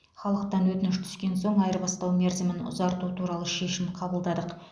халықтан өтініш түскен соң айырбастау мерзімін ұзарту туралы шешім қабылдадық